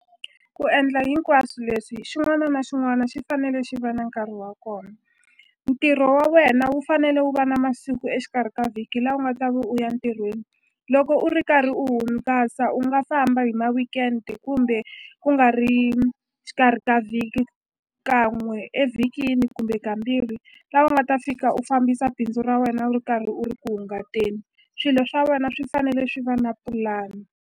Ku endla hinkwaswo leswi xin'wana na xin'wana xi fanele xi va na nkarhi wa kona ntirho wa wena wu fanele wu va na masiku exikarhi ka vhiki la u nga ta va u ya ntirhweni loko u ri karhi u hungasa u nga famba hi ma-weekend kumbe ku nga ri xikarhi ka vhiki kan'we evhikini kumbe kambirhi la u nga ta fika u fambisa bindzu ra wena u ri karhi u ri ku hungateni swilo swa wena swi fanele swi va na pulani.